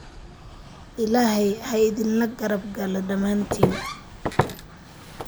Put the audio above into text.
Ilaahay ha idinla garab galo dhammaantiin